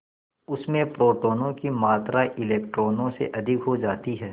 उसमें प्रोटोनों की मात्रा इलेक्ट्रॉनों से अधिक हो जाती है